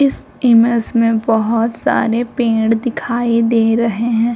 इस इमेज में बहुत सारे पेड़ दिखाई दे रहे है।